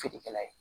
Feerekɛla ye